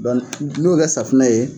n'i y'o kɛ safinɛ ye